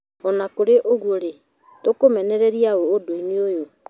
Ona kũrĩ ũguo rĩ, tũkũmenereria ũũ ũndũinĩ ũyũ